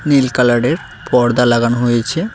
নীল কালারের পর্দা লাগানো হয়েছে।